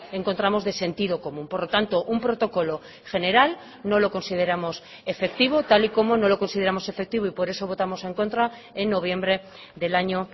encontramos de sentido común por lo tanto un protocolo general no lo consideramos efectivo tal y como no lo consideramos efectivo y por eso votamos en contra en noviembre del año